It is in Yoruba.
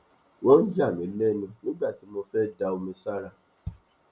wọn yà mí lẹnu nígbà tí mo fẹ da omi sára